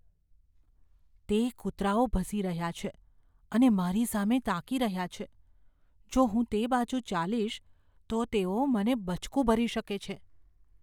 તે કૂતરાઓ ભસી રહ્યા છે અને મારી સામે તાકી રહ્યા છે. જો હું તે બાજુ ચાલીશ તો તેઓ મને બચકું ભરી શકે છે.